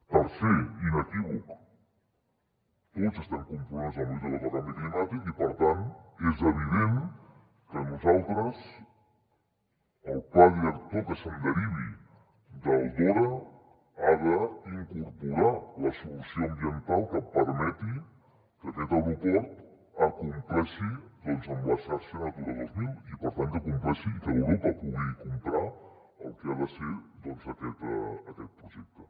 tercer inequívoc tots estem compromesos amb la lluita contra el canvi climàtic i per tant és evident que nosaltres el pla director que es derivi del dora ha d’incorporar la solució ambiental que permeti que aquest aeroport acompleixi amb la xarxa natura dos mil i per tant que acompleixi que europa pugui comprar el que ha de ser aquest projecte